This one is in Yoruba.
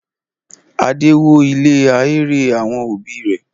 Adé wó ilé ahéré àwọn òbí rẹ̀?